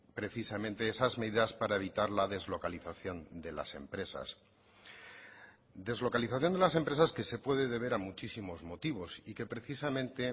precisamente esas medidas para evitar la deslocalización de las empresas deslocalización de las empresas que se puede deber a muchísimos motivos y que precisamente